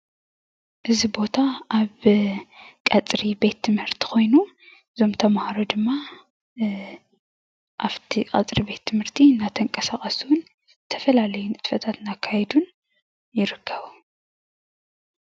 እዚ ቦታ ኣብ ቀፅሪ ቤት ትምህርቲ ኮይኑ እዞም ተማሃሮ ድማ ኣፍቲ ቀፅሪ ቤት ትምህርቲ እንዳተንቀሳቀሱን ዝተፈላለዩ ንጥፈታት እንዳካየዱን ይርከቡ።